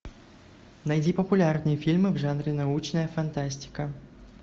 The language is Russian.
найди популярные фильмы в жанре научная фантастика